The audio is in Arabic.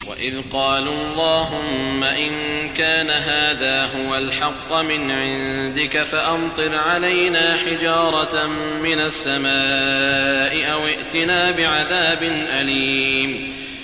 وَإِذْ قَالُوا اللَّهُمَّ إِن كَانَ هَٰذَا هُوَ الْحَقَّ مِنْ عِندِكَ فَأَمْطِرْ عَلَيْنَا حِجَارَةً مِّنَ السَّمَاءِ أَوِ ائْتِنَا بِعَذَابٍ أَلِيمٍ